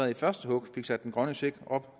i første hug fik sat den grønne check op